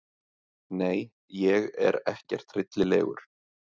Nei ég er ekkert hryllilegur.